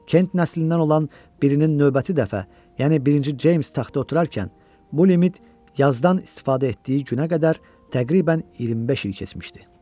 Kent nəslindən olan birinin növbəti dəfə, yəni birinci Ceyms taxta oturarkən, bu limit yazdan istifadə etdiyi günə qədər təqribən 25 il keçmişdi.